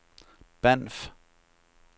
Banff